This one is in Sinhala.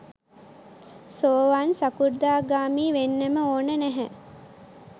සෝවාන් සකෘදාගාමී වෙන්නම ඕන නැහැ.